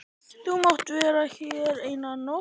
Þú mátt vera hér eina nótt.